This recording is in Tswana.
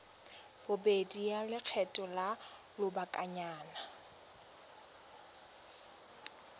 bobedi ya lekgetho la lobakanyana